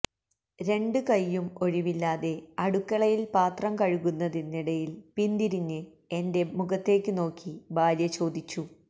രണ്ടും കയ്യും ഒഴിവില്ലാതെ അടുക്കളയില് പാത്രം കഴുകുന്നതിനിടയില് പിന്തിരിഞ്ഞ് എന്റെ മുഖത്തേക്ക് നോക്കി ഭാര്യ ചോദിച്ചു